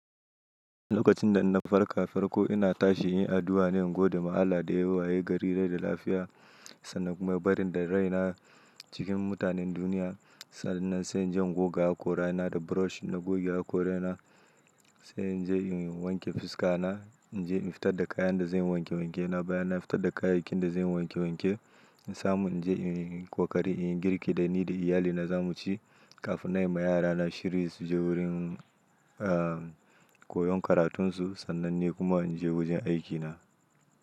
Lokacin da na farka farko ina tashi in yi addu'a ne in gode ma Allah da ya waye gari rai da lafiya sannan kuma bari da rai na cikin mutanen duniya. Sa'nan sai in je in goga hakora na da brush. Na goge hakora na, sai in je in wanke fuska na. In je in fita da kayan da zan wanke wanke. Na baya na fita da kayayyakin da zan wanke wanke. In samu in je in kwakwari, in yi girki da ni da iyalina za mu ci. Kafin na yi ma yarana shiryi su je wurin, aa, koyon karatunsu. Sannan ne kuma in je wajen aikina.